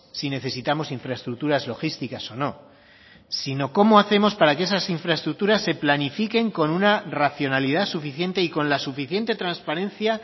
si necesitamos infraestructuras logísticas o no sino cómo hacemos para que esas infraestructuras se planifiquen con una racionalidad suficiente y con la suficiente transparencia